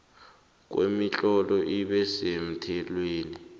kwemitlolo ibe semthethweni